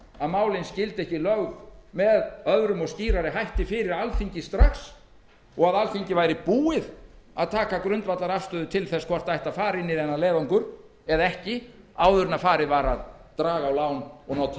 að málin skyldu ekki lögð með öðrum og skýrari hætti fyrir alþingi strax og að alþingi væri búið að taka grundvallarafstöðu til þess hvort fara ætti inn í þennan leiðangur eða ekki áður en farið var að draga lán og nota